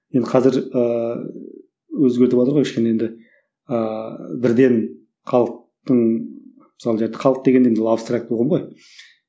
енді қазір ыыы өзгертіватыр ғой кішкене енді ыыы бірден халықтың мысалы жарайды халық дегенде енді абстракті ұғым ғой